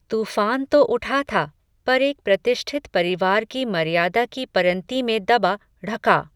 तूफ़ान तो उठा था, पर एक प्रतिष्ठित परिवार की मर्यादा की परंती में दबा ढ़का